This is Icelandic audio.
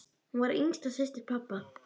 Hún var yngsta systir pabba.